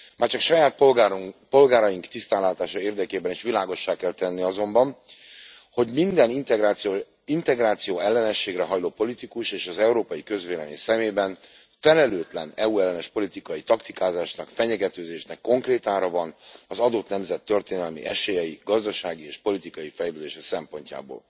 Már csak saját polgáraink tisztánlátása érdekében is világossá kell tenni azonban, hogy minden integrációellenességre hajló politikus és az európai közvélemény szemében felelőtlen EU ellenes politikai taktikázásnak, fenyegetőzésnek konkrét ára van az adott nemzet történelmi esélyei, gazdasági és politikai fejlődése szempontjából.